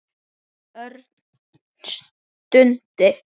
Örn stundi.